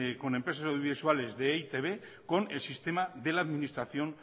con empresas audiovisuales de e i te be con el sistema de la administración